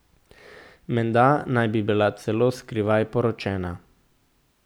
Menda naj bi bila celo skrivaj poročena.